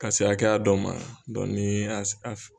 Ka se hakɛya dɔ ma n'i y'a a